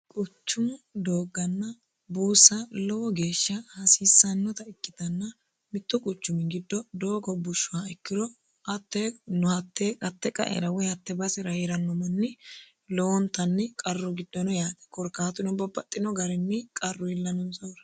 quchumu doogganna buussa lowo geeshsha hasiissannota ikkitanna mittu quchum giddo doogo bushshha ikkiro hatee qaera woy hatte basera heeranno manni lowontanni qarru giddono yaate korikaatuno babbaxino garinni qarru iillanonsahura